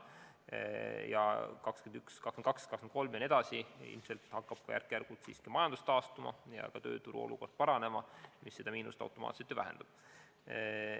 Aastail 2021, 2022, 2023 jne ilmselt hakkab majandus järk-järgult taastuma ja tööturu olukord paranema, mis seda miinust automaatselt vähendab.